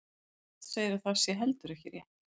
Margrét segir að það sé heldur ekki rétt.